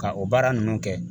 Ka o baara ninnu kɛ